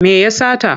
Me ya sata?